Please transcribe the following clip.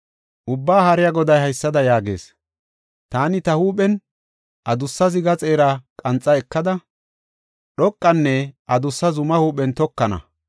Ubbaa Haariya Goday haysada yaagees; “Taani ta huuphen adussa ziga xeera qanxa ekada, dhoqanne adussa zumaa huuphen tokana.